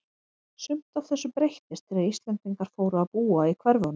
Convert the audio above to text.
Sumt af þessu breyttist þegar Íslendingar fóru að búa í hverfunum.